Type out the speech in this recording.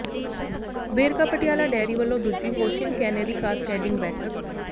Verka Patiala dairy ਵੱਲੋਂ ਦੂਜੀ hoshin kanri cascading ਬੈਠਕ